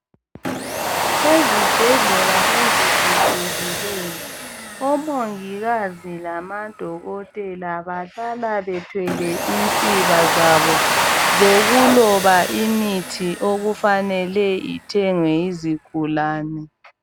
Ezibhedlela eziphucukileyo , omongikazi lamaDokotela Bahlala bethwele insiba zabo zokuloba imithi okufanele ithengwe yizigulane.